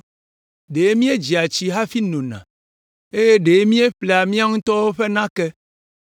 Ɖe míedzea tsi hafi nona eye ɖe míeƒlea míawo ŋutɔ ƒe nake.